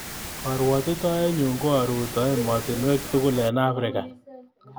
Karwotitoenyu ko aruto emotinweek tugul eng Africa.